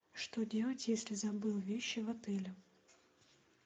что делать если забыл вещи в отеле